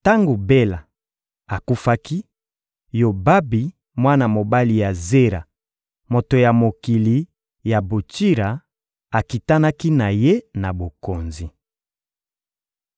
Tango Bela akufaki, Yobabi, mwana mobali ya Zera, moto ya mokili ya Botsira, akitanaki na ye na bokonzi.